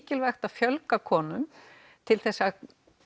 mikilvægt að fjölga konum til þess að